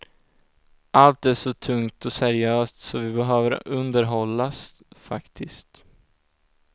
Allt är så tungt och seriöst, så vi behöver underhållas faktiskt.